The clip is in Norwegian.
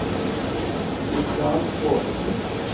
Mikael Bråten